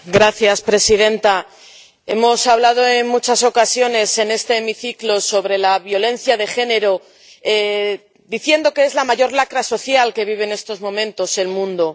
Señora presidenta, hemos hablado en muchas ocasiones en este hemiciclo sobre la violencia de género diciendo que es la mayor lacra social que vive en estos momentos el mundo.